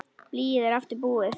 Blýið er aftur búið.